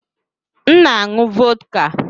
M na-aṅụ vọdka.